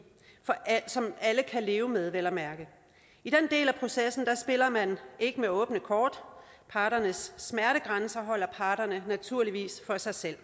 som alle kan leve med vel at mærke i den del af processen spiller man ikke med åbne kort parternes smertegrænser holder parterne naturligvis for sig selv